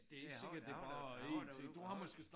Det har jeg har da jeg har været derude